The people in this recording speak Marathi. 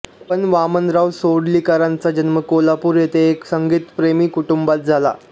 पं वामनराव सडोलीकरांचा जन्म कोल्हापूर येथे एका संगीतप्रेमी कुटुंबात झाला